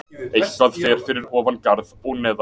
Eitthvað fer fyrir ofan garð og neðan